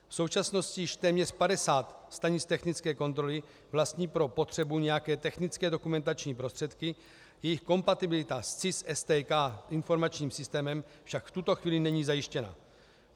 V současnosti již téměř 50 stanic technické kontroly vlastní pro potřebu nějaké technické dokumentační prostředky, jejich kompatibilita s CIS STK informačním systémem však v tuto chvíli není zajištěna.